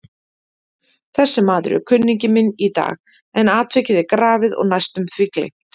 Þessi maður er kunningi minn í dag, en atvikið er grafið og næstum því gleymt.